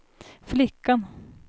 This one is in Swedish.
flickan